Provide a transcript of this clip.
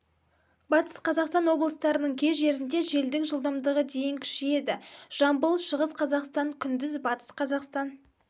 батыс қазақстан облыстарының кей жерінде желдің жылдамдығы дейін күшейеді жамбыл шығыс қазақстан күндіз батыс қазақстан